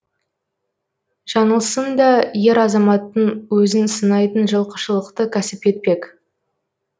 жаңылсын да ер азаматтың өзін сынайтын жылқышылықты кәсіп етпек